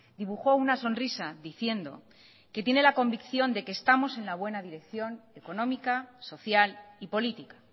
dibujó una sonrisa diciendo que tiene la convicción de que estamos en la buena dirección económica social y política